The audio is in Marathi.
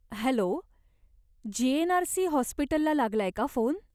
Hello, GNRC. हॉस्पिटलला लागलाय का फोन?